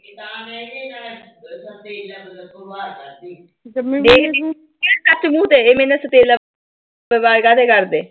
ਮੂੰਹ ਤਾਂ ਹੈਗੇ ਨੇ ਇਨ੍ਹਾਂ ਦੇ